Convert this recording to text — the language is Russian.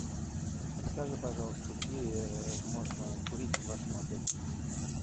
расскажи пожалуйста где можно курить в вашем отеле